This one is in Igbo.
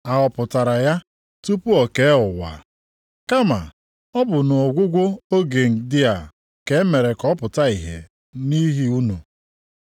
A họpụtara ya tupu e kee ụwa. Kama, ọ bụ nʼọgwụgwụ oge ndị a ka e mere ka ọ pụta ìhè nʼihi unu.